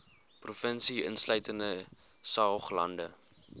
provinsie insluitende saoglande